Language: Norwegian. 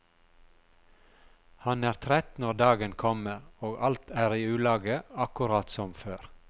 Han er trett når dagen kommer, og alt er i ulage akkurat som før.